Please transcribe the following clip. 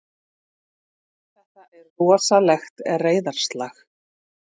Þetta er rosalegt reiðarslag!